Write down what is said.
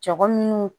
Jago minnu